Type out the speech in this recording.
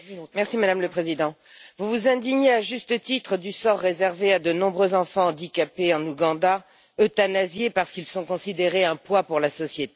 Madame la Présidente, vous vous indignez à juste titre du sort réservé à de nombreux enfants handicapés en Ouganda, euthanasiés parce qu'ils sont considérés comme un poids pour la société.